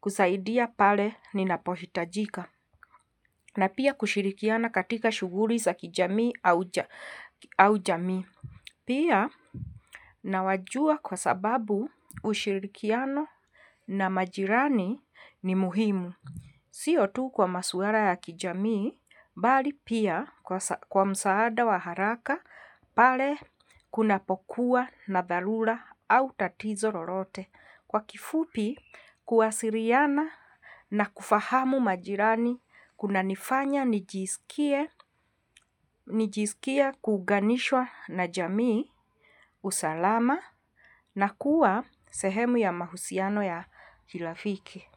kusaidia pale ninapohitajika, na pia kushirikiana katika shughuli za kijamii au jamii. Pia nawajua kwa sababu ushirikiano na majirani ni muhimu. Sio tu kwa masuala ya kijamii, bali pia kwa msaada wa haraka, pale kunapokuwa na dharura au tatizo lolote. Kwa kifupi kuwasiliana na kufahamu majirani kuna nifanya nijisikie kuunganishwa na jamii usalama na kuwa sehemu ya mahusiano ya kirafiki.